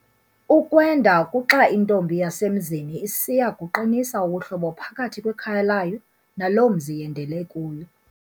Ukwenda kuxa intombi yasemzini isiya kuqinisa ubuhlobo phakathi kwekhaya layo naloo mzi yendele kuyo.